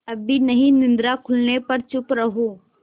अभी नहीं निद्रा खुलने पर चुप रहो